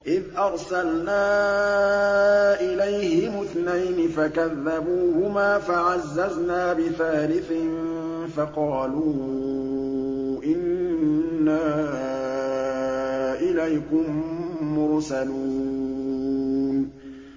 إِذْ أَرْسَلْنَا إِلَيْهِمُ اثْنَيْنِ فَكَذَّبُوهُمَا فَعَزَّزْنَا بِثَالِثٍ فَقَالُوا إِنَّا إِلَيْكُم مُّرْسَلُونَ